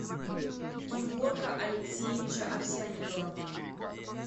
геворка алексеевича овсянникова